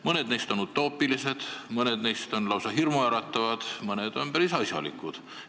Mõned neist on utoopilised, mõned neist on lausa hirmuäratavad, mõned on päris asjalikud.